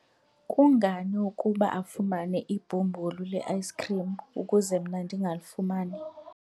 kungani ukuba afumane ibhumbulu le-ayisikhrim ukuze mna ndingalifumani?